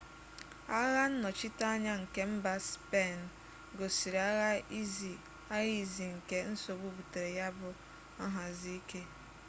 agha nnọchiteanya nke mba spein gosiri agha izi nke nsogbu butere ya bu nhazi ike